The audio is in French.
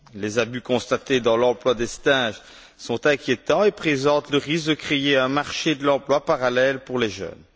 Les abus constatés dans l'emploi des stages sont inquiétants et présentent le risque de créer un marché de l'emploi parallèle pour les jeunes.